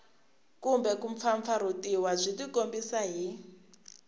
kumbe kumpfampfarhutiwa byi tikombisa hi